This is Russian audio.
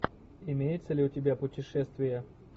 имеется ли у тебя путешествия